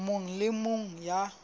mong le e mong ya